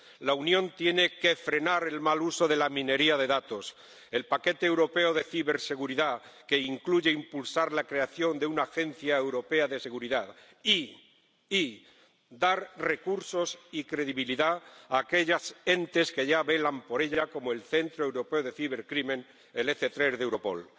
La Unión tiene que frenar el mal uso de la minería de datos con el paquete europeo de ciberseguridad, que incluye impulsar la creación de una Agencia Europea de Seguridad, y debe dar recursos y credibilidad a aquellos entes que ya velan por ella, como el Centro Europeo de Ciberdelincuencia —EC3 de Europol—.